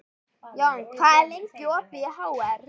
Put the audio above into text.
Jón, hvað er lengi opið í HR?